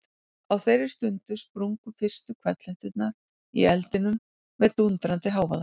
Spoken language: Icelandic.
Á þeirri stundu sprungu fyrstu hvellhetturnar í eldinum með dúndrandi hávaða.